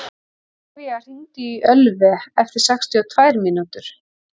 Ólivía, hringdu í Ölvi eftir sextíu og tvær mínútur.